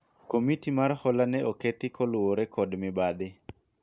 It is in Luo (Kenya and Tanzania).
komiti mar hola ne okethi kaluwore kod mibadhi